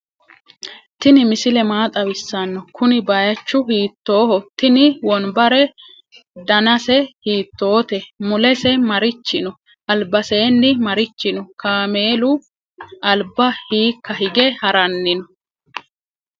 tini misile maa xawisano? kuni bayichu hitoho ?tinni wonbare dannasw hittote? mulese marichi no?albaseni marichi no? kamelu alba hika hige harani no?